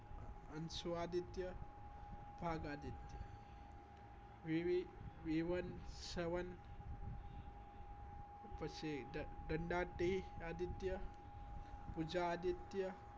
અનશ્વ આદિત્ય ભાગ આદિત્યવિવે વિવન સવન પછી દંડાત્યેય આદિત્ય ઉજા આદિત્ય